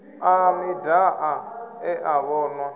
a midia e a vhonwa